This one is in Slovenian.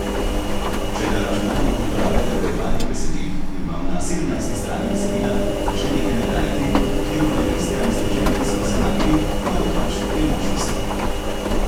Če na računalniku uporabljate urejevalnik besedil in vam na sedemnajsti strani besedila začne nekaj nagajati, ob tem pa ne veste, ali ste že napisano shranili, imate pač dve možnosti.